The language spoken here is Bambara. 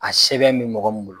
A sɛbɛn bɛ mɔgɔ min bolo